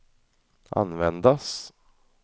användas